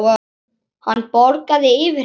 Hann bograði yfir henni.